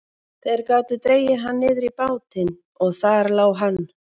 Þeir gátu dregið hann niður í bátinn og þar lá hann.